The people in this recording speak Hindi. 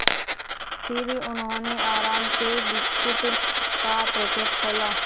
फिर उन्होंने आराम से बिस्कुट का पैकेट खोला